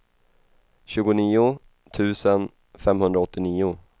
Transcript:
tjugonio tusen femhundraåttionio